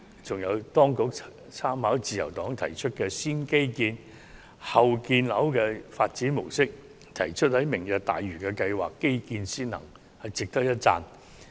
此外，當局參考了自由黨提出的"先基建、後建樓"發展模式，提出推行"明日大嶼"計劃時會以基建先行，值得一讚。